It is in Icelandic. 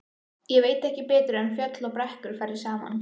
Ég veit ekki betur en fjöll og brekkur fari saman.